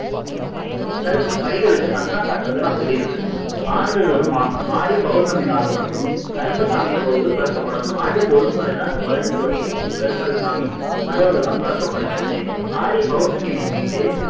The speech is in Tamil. கருப்பர் படிகளுக்கு சந்தனம் சாத்துறதை நான் சொல்லியிருந்தேனே ஆண்டுதோறும் ஆ ஆடி பவுர்ணமி நாள் மட்டும் கருப்பசாமி கோவில் திறக்கப்படும். ஆண்டுக்கு ஒரு முறை தான் இந்த பதினெட்டு படி கருப்பர் சாமி கதவுகள் எல்லாம் திறக்கப்படுகிறது ஆடி பவுர்ணமி முன்னிட்டு